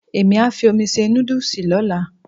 Èmí á fi omi se nódùsì lọ́la